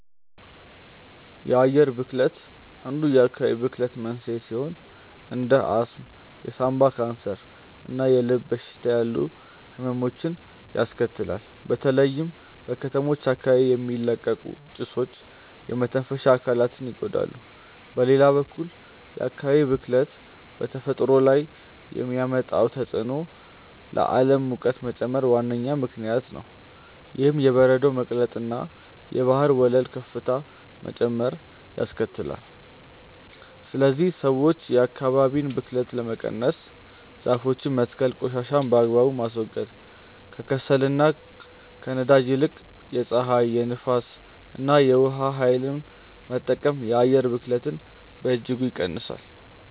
የአየር ብክለት አንዱ የአካባቢ ብክለት መንስኤ ሲሆን እንደ አስም፣ የሳምባ ካንሰር እና የልብ በሽታ ያሉ ህመሞችን ያስከትላል። በተለይም በከተሞች አካባቢ የሚለቀቁ ጭሶች የመተንፈሻ አካላትን ይጎዳሉ። በሌላ በኩል የአካባቢ ብክለት በተፈጥሮ ላይ ከሚያመጣው ተጽዕኖ ለዓለም ሙቀት መጨመር ዋነኛ ምክንያት ነው። ይህም የበረዶ መቅለጥንና የባህር ወለል ከፍታ መጨመርን ያስከትላል። ስለዚህ ሰዎች የአካባቢን ብክለት ለመቀነስ ዛፎችን መትከል ቆሻሻን በአግባቡ ማስወገድ፣ ከከሰልና ከነዳጅ ይልቅ የፀሐይ፣ የንፋስ እና የውሃ ኃይልን መጠቀም የአየር ብክለትን በእጅጉ ይቀንሳል።